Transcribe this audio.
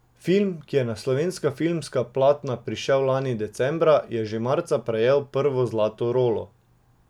Film, ki je na slovenska filmska platna prišel lani decembra, je že marca prejel prvo zlato rolo.